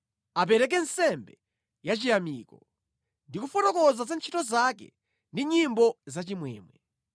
Apereke nsembe yachiyamiko ndi kufotokoza za ntchito zake ndi nyimbo zachimwemwe.